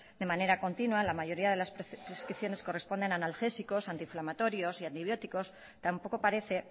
de manera continua la mayoría de las prescripciones corresponden a analgésicos antinflamatorios y antibióticos tampoco parece